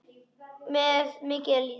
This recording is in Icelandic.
Með mikið eða lítið hár?